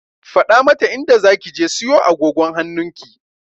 Faɗa mata inda zaki je siyo agogon hannunki!